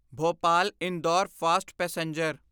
Bhopal Indore fast passenger